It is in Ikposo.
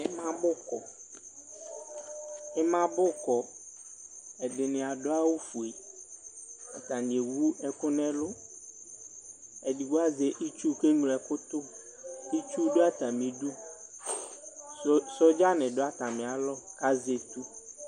Ima bu kɔ ɛdini adʋ awʋfue atani ewʋ ɛkʋ nʋ ɛlʋ edigbo azɛ itsu itsu dʋ atami idʋ sɔdza ni dʋ atami alɔ kʋ azɛ etʋ